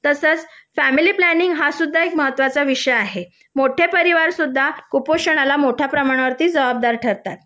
family planning हा सुद्धा एक महत्त्वाचा विषय आहे मोठे परिवार सुद्धा कुपोषणाला मोठ्या प्रमाणामध्ये जबाबदार ठरतात